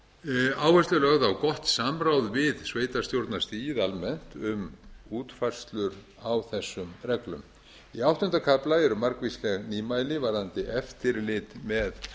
áhersla er lögð á gott samráð við sveitarstjórnarstigið almennt um útfærslur á þessum reglum í áttunda kafla eru margvísleg nýmæli varðandi eftirlit með